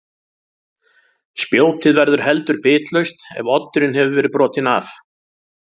Spjótið verður heldur bitlaust ef oddurinn hefur verið brotinn af.